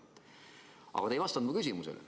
Aga te ei vastanud mu küsimusele.